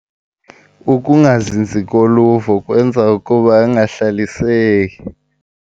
Ukungazinzi koluvo kwenza ukuba angahlaliseki.